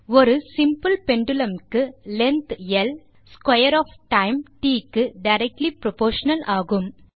ஒரு simple pendulum க்கு length ல் ஸ்க்வேர் ஒஃப் டைம் ட் க்கு டைரக்ட்லி புரொப்போர்ஷனல் ஆகும்